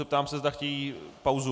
Zeptám se, zda chtějí pauzu.